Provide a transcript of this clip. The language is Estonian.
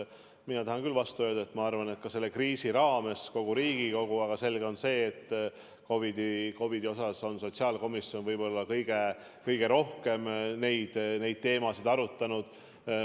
Mina tahan vastu öelda, et selle kriisi ajal kogu Riigikogu, aga selge on see, et COVID-iga seoses on just sotsiaalkomisjon kõige rohkem neid teemasid arutanud.